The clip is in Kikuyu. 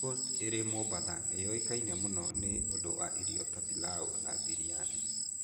Coast ĩrĩ Mombatha nĩ ũĩkaine mũno nĩ ũndũ wa irio ta pilau na biryani.